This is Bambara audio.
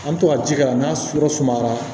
An bɛ to ka ji k'a la n'a sɔrɔ sumayara